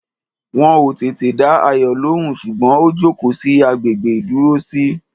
Wọn ò tètè dá Ayọ̀ lóhùn, ṣùgbọ́n ó jókòó sí agbègbè ìdúrósí.